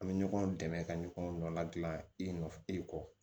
An bɛ ɲɔgɔn dɛmɛ ka ɲɔgɔn nɔ ladilan i nɔ i kɔ